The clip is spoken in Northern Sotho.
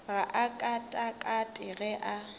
ga a katakate ge a